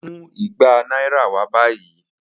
Mu igba naira wa bayi.